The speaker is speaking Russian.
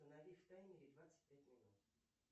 установи в таймере двадцать пять минут